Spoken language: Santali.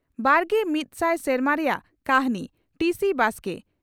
ᱵᱟᱜᱮ ᱢᱤᱫ ᱥᱟᱭ ᱥᱮᱨᱢᱟ ᱨᱮᱭᱟᱜ ᱠᱟᱹᱦᱱᱤ (ᱴᱤᱹᱥᱤᱹ ᱵᱟᱥᱠᱮ)